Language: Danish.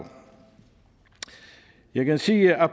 jeg kan sige at